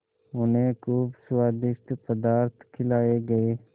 उन्हें खूब स्वादिष्ट पदार्थ खिलाये गये